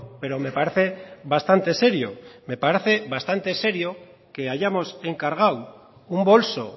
pero me parece bastante serio me parece bastante serio que hayamos encargado un bolso